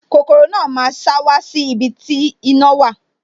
Kokoro náà máa sá wá sí ibi tí iná wà